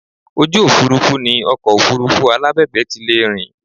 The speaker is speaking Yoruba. Ojú òfuurufú ni ọkọ̀ Òfurufú alábẹ̀bẹ̀ ti lè rìn